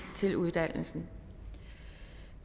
til uddannelsen